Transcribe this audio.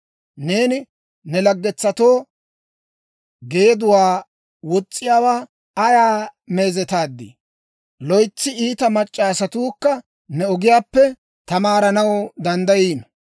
Neeni ne laggetsatoo geeduwaa wos's'iyaawaa ayaa meezetaadii! Loytsi iita mac'c'a asatuukka ne ogiyaappe tamaaranaw danddayiino.